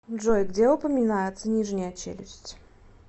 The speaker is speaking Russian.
джой где упоминается нижняя челюсть